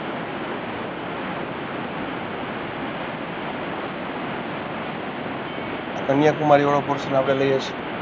આ કન્યાકુમારીવાળો question આપણે લઈએ છીએ.